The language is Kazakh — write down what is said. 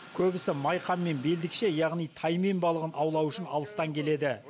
көбісі майқан мен белдікше яғни таймен балығын аулау үшін алыстан келеді